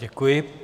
Děkuji.